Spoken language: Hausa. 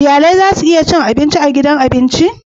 Iyali zasu iya zuwa cin abinci a gidan abinci